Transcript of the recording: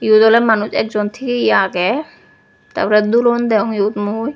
eyot oley manuj ekjon tiye ye agey tar porey dulon degong mui.